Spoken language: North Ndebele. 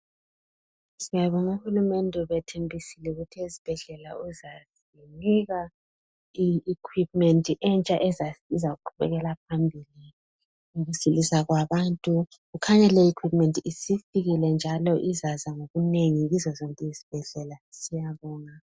Siyabonga uhulumende ubethembisile ukuthi ezibhedlela uzazinika iikwipimendi entsha ezazisiza ukuqubekela phambili ukusilisa kwabantu. Kukhanya leyi iikwipimendi isifikile njalo izaza ngobunengi kuzo zonke izibhedlela. Siyabonga.